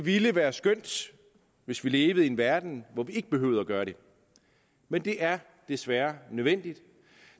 ville være skønt hvis vi levede i en verden hvor vi ikke behøvede at gøre det men det er desværre nødvendigt